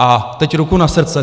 A teď ruku na srdce.